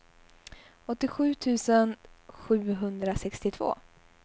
åttiosju tusen sjuhundrasextiotvå